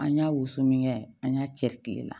An y'a wusu min kɛ an y'a cɛ kilenna